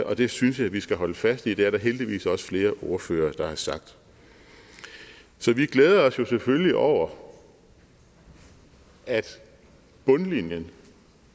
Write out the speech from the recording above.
og det synes jeg vi skal holde fast i det er der heldigvis også flere ordførere der har sagt så vi glæder os selvfølgelig over at bundlinjen